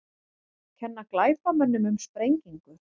Kenna glæpamönnum um sprengingu